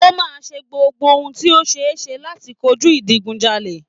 O máa ṣe gbogbo ohun tí ó ṣeéṣe láti kojú ìdigunjalè